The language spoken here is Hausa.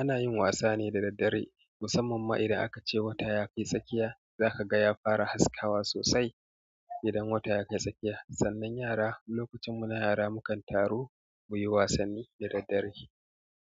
ana yin wasa ne da daddare, musamman ma idan aka ce wata ya kai tsakiya. Zaka ga ya fara haskawa sosai idan wata ya kai tsakiya. Sannan yara lokacin munahara mukan taru muyi wasanni da daddare.